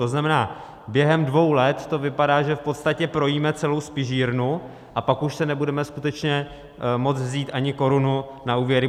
To znamená, během dvou let to vypadá, že v podstatě projíme celou spižírnu, a pak už si nebudeme skutečně moct vzít ani korunu na úvěry.